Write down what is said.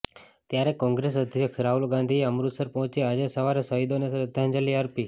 ત્યારે કોંગ્રેસ અધ્યક્ષ રાહુલ ગાંધીએ અમૃતસર પહોંચી આજે સવારે શહીદોને શ્રદ્ધાંજલિ અર્પી